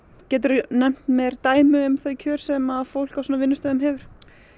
geturðu nefnt mér dæmi um kjör sem fólk á svona vinnustöðum hefur